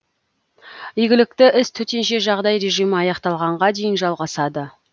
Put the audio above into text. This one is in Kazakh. игілікті іс төтенше жағдай режимі аяқталғанға дейін жалғасады